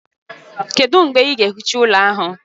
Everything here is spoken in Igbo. Kedu mgbe ị ga-ehicha ụlọ ahụ?